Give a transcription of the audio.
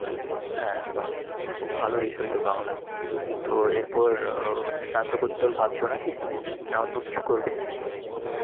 হ্যাঁ, বাহ। খুব ভালো বিষয় তো বাংলা। তো এরপর স্নাতকোত্তর ভাবছ নাকি? না অন্য কিছু করবে?